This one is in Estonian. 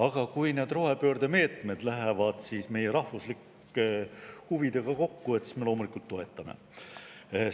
Aga kui need rohepöörde meetmed lähevad meie rahvuslike huvidega kokku, siis me loomulikult toetame neid.